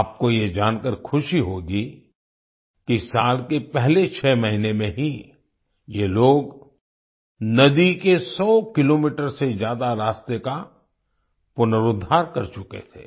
आपको ये जानकर खुशी होगी कि साल के पहले 6 महीने में ही ये लोग नदी के 100 किलोमीटर से ज्यादा रास्ते का पुनरोद्धार कर चुके थे